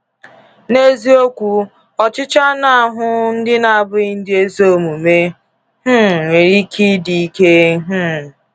N’eziokwu, ọchịchọ anụ ahụ ndị na-abụghị ndị ezi omume um nwere ike ịdị ike. um